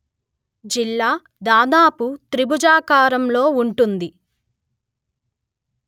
జిల్లా దాదాపు త్రిభుజాకారంలో ఉంటుంది